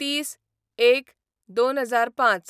३०/०१/२००५